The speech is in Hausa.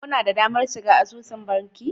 Kuna da damar shiga asusun banki?